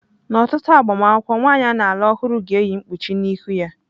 N'ọtụtụ agbamakwụkwọ, nwanyị a na-alụ ọhụrụ ga-eyi mkpuchi n'ihu ya.